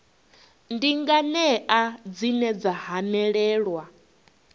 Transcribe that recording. ndi nganea dzine dza hanelelwa